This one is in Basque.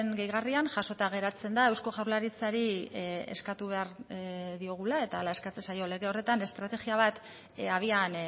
gehigarrian jasota geratzen da eusko jaurlaritzari eskatu behar diogula eta hala eskatzen zaio lege horretan estrategia bat abian